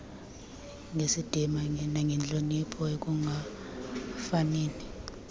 ngesidima nangentloniphi ekungafanini